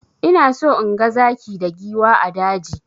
Ina so inga zaki da giwa a daji.